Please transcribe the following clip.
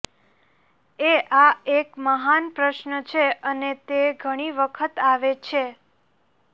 એ આ એક મહાન પ્રશ્ન છે અને તે ઘણી વખત આવે છે